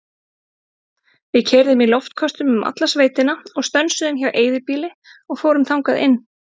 Við keyrðum í loftköstum um alla sveitina og stönsuðum hjá eyðibýli og fórum þangað inn.